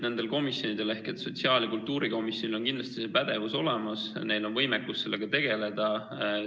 Nendel komisjonidel ehk sotsiaal- ja kultuurikomisjonil on kindlasti see pädevus olemas, neil on võimekus sellega tegeleda.